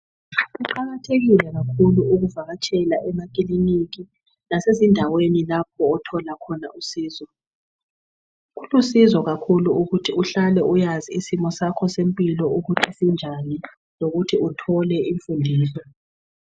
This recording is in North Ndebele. Kuqakathekile kakhulu ukuvakatshela emakilika lasezindaweni lapho othola khona usizo . Kulusizo kakhulu ukuthi uhlale ukwazi ukuthi isimo sakho semphilo ukuthi sinjani. Lokuthi uthole umfundiso.